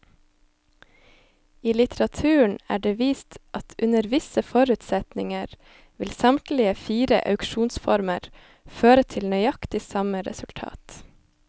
I litteraturen er det vist at under visse forutsetninger vil samtlige fire auksjonsformer føre til nøyaktig samme resultat.